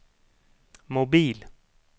mobil